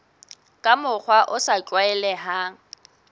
ka mokgwa o sa tlwaelehang